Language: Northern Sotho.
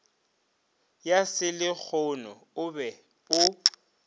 ya selehono o be o